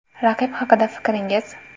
Raqib haqida fikringiz?